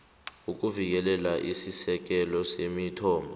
ukuvikela isisekelo semithombo